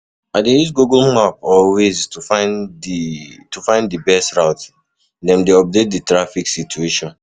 I dey use Google Map or Ways to find di to find di best route, dem dey update di traffic situation.